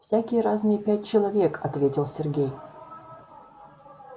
всякие разные пять человек ответил сергей